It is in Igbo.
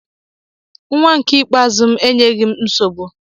Nnwa m nke ikpeazụ enyeghị m nsogbu